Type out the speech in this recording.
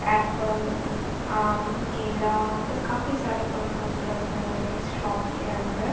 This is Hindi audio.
एप्पल अम आम केला मतलब काफी सारे फल -फ्रूट रखे हुए है इस शॉप के अंदर --